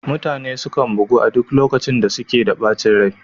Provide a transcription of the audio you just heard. Mutane sukan bugu a duk lokacin da suke da ɓacin rai